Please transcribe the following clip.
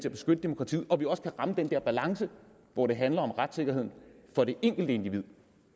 at beskytte demokratiet og så vi også kan ramme den der balance hvor det handler om retssikkerheden for det enkelte individ